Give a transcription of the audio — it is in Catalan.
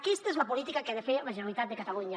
aquesta és la política que ha de fer la generalitat de catalunya